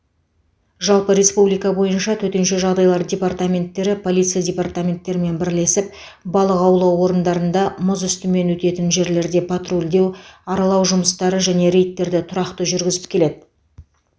жалпы республика бойынша төтенше жағдайлар департаменттері полиция департаменттерімен бірлесіп балық аулау орындарында мұз үстімен өтетін жерлерде патрульдеу аралау жұмыстары және рейдтерді тұрақты жүргізіп келеді